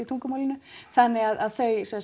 tungumálinu þannig að þau